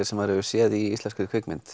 sem maður hefur séð í íslenskri kvikmynd